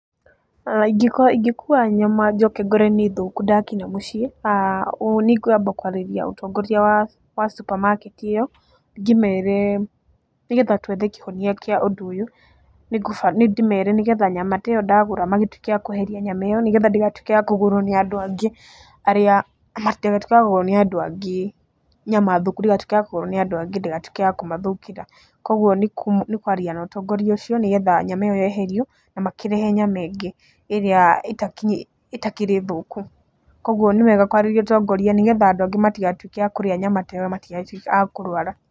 Ingĩkorwo ingĩkuua nyama njoke ngore nĩ thũku ndakinya mũciĩ, nĩ kwamba kwarĩria ũtongoria wa supermarket ĩyo, ngĩmere nĩ getha twethe kĩhonia kĩa ũndũ ũyũ, nĩ ndĩmere nĩ getha nyama ta ĩyo ndagũra magĩtuĩke a kũeheria nyama ĩyo nĩ getha ndĩgatuĩke ya kũgũrwo nĩ andũ angĩ, nyama thũku ndigatuĩke ya kũgũrwo nĩ andũ angĩ ndĩgatuĩke ya kũmathũkĩra. Kuũguo nĩ kwaria na ũtongoria ũcio nĩ getha nyama ĩyo yeherio na makĩrehe nyama ĩngĩ ĩrĩa ĩtakĩrĩ thũku. Kuũguo nĩ wega kwarĩria ũtongoria nĩ getha andũ angĩ matigatuĩke a kũrĩa nyama ta ĩyo na matigagĩtuĩke a kũrũara.